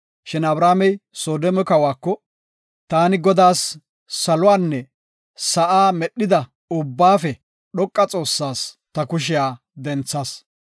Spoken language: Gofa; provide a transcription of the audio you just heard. Shin Abramey Soodome kawako, “Taani Godaas, saluwanne sa7a medhida Ubbaafe Dhoqa Xoossas ta kushiya denthas.